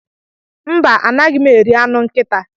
Mba, anaghị m eri anụ nkịta.